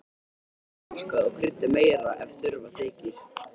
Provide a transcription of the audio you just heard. Smakkað og kryddið meira ef þurfa þykir.